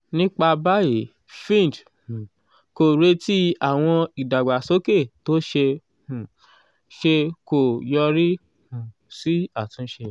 nípa báyìí fitch um kò retí àwọn ìdàgbàsókè tó ṣeé um ṣe kó yọrí um sí àtúnṣe.